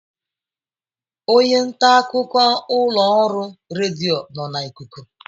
Onye nta akụkọ ụlọ ọrụ redio nọ na ikuku